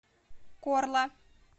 корла